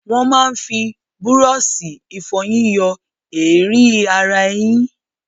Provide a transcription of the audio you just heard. Wọ́n máa ń fi búrọ́ọ̀ṣì ìfọyín yọ èérí ara eyín.